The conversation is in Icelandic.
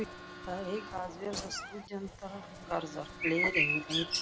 Þar eiga að verða stúdentagarðar, fleiri en einn eða tveir.